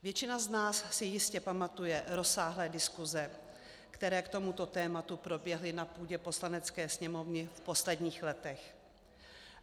Většina z nás si jistě pamatuje rozsáhlé diskuze, které k tomuto tématu proběhly na půdě Poslanecké sněmovny v posledních letech.